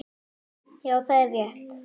Já, er það rétt?